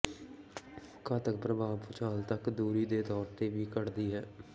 ਘਾਤਕ ਪ੍ਰਭਾਵ ਭੂਚਾਲ ਤੱਕ ਦੂਰੀ ਦੇ ਤੌਰ ਤੇ ਵੀ ਘਟਦੀ ਹੈ